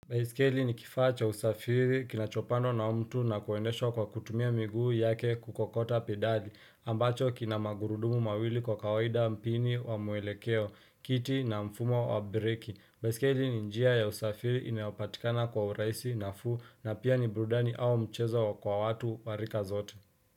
Baiskeli ni kifaa cha usafiri kinachopandwa na mtu na kuendeshwa kwa kutumia miguu yake kukokota pedali ambacho kinamagurudumu mawili kwa kawaida mpini wa muelekeo, kiti na mfumo wa breki. Baiskeli ni njia ya usafiri inayopatikana kwa urahisi na fuu na pia ni burudani au mchezo kwa watu warika zote.